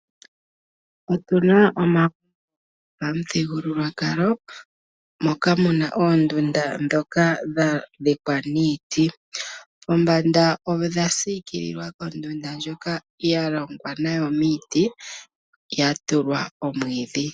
Otu na omagumbo gwopamuthigulwakalo moka mu na oondunda ndhoka dha dhikwa niiti, pombanda odha siikililwa kondunda ndjoka ya longwa nayo miiti ya tulwa omwiidhi.